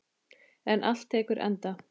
En allt tekur enda.